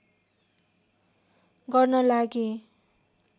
गर्न लागेँ